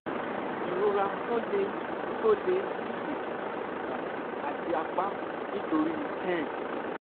ìrora tó le tó le ní èjìká ìbàdí àti apá nítorí ten